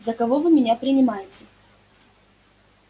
за кого вы меня принимаете